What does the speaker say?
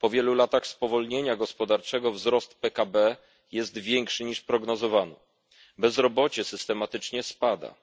Po wielu latach spowolnienia gospodarczego wzrost PKB jest większy, niż prognozowano. Bezrobocie systematycznie spada.